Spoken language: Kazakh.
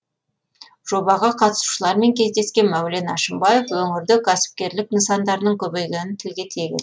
жобаға қатысушылармен кездескен мәулен әшімбаев өңірде кәсіпкерлік нысандарының көбейгенін тілге тиек етті